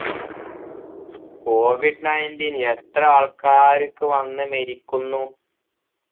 covid nineteen എത്ര ആൾക്കാർക്ക് വന്ന് മരിക്കുന്നു